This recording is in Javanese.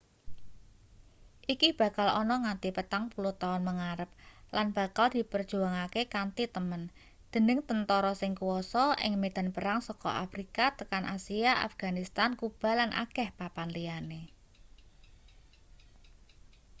iki bakal ana nganti 40 tahun mengarep lan bakal diperjuangake kanthi temen dening tentara sing kuasa ing medan perang saka afrika tekan asia afganistan kuba lan akeh papan liyane